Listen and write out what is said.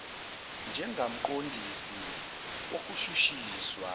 njengakumqon disi wokushushiswa